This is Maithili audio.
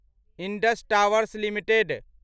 Indus Towers limited